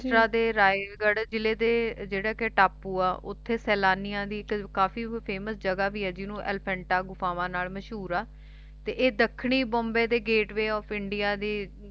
ਮਹਾਰਾਸ਼ਟਰਾ ਦੇ ਰਾਇਗੜ੍ਹ ਜਿਲ੍ਹੇ ਦੇ ਜਿਹੜਾ ਕਿ ਟਾਪੂ ਆ ਓਥੇ ਸੈਲਾਨੀਆਂ ਦੀ ਇੱਕ ਕਾਫੀ famous ਜਗ੍ਹਾ ਵੀ ਆ ਜਿਹਨੂੰ ਐਲਫੈਂਟਾ ਗੁਫਾਵਾਂ ਨਾਲ ਮਸ਼ਹੂਰ ਆ ਤੇ ਦੱਖਣੀ ਬੰਬੇ ਦੇ gateway of India ਦੀ